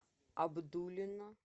абдулино